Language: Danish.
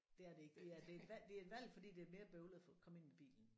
Det er det ikke det er det er et valg det er et valg fordi det er mere bøvlet at få komme ind med bilen